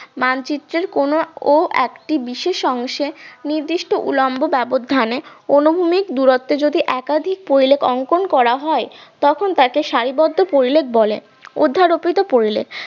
মানচিত্রের কোন ও একটি বিশেষ অংশে নির্দিষ্ট উলম্ব ব্যবধানে অনুভূমির দূরত্বে যদি একাধিক পরিলেখ অঙ্কন করা হয় তখন তাকে সারিবদ্ধ পরিলেখ বলে অধ্যারোপিত পরিলেখ